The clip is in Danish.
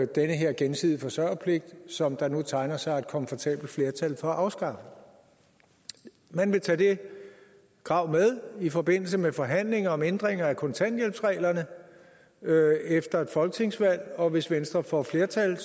den her gensidige forsørgerpligt som der nu tegner sig et komfortabelt flertal for at afskaffe man vil tage det krav med i forbindelse med forhandlinger om ændringer af kontanthjælpsreglerne efter folketingsvalget og hvis venstre får flertal